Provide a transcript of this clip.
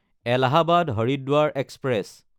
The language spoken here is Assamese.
এলাহাবাদ–হৰিদ্বাৰ এক্সপ্ৰেছ